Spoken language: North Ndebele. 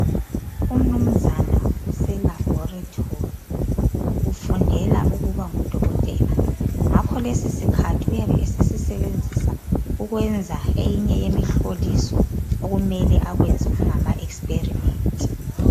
Umnumzana useLabhorethori ufundela ukuba ngudokotela. Ngakholesi sikhathi uyabe esesisebenzisa ukwenza eyinye yemihloliso okumele akwenze kungama ekisiperimenti.